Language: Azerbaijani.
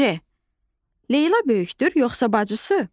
C. Leyla böyükdür, yoxsa bacısı?